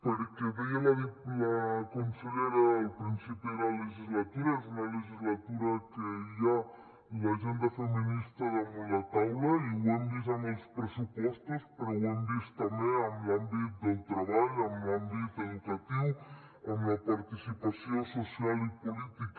perquè ho deia la consellera al principi de la legislatura és una legislatura que hi ha l’agenda feminista damunt la taula i ho hem vist amb els pressupostos però ho hem vist també en l’àmbit del treball en l’àmbit educatiu amb la participació social i política